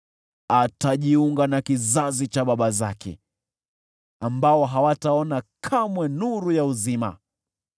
atajiunga na kizazi cha baba zake, ambao hawataona kamwe nuru ya uzima.